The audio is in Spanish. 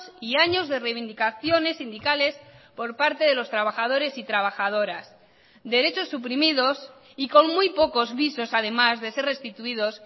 y años de reivindicaciones sindicales por parte de los trabajadores y trabajadoras derechos suprimidos y con muy pocos visos además de ser restituidos